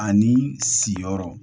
Ani siyɔrɔ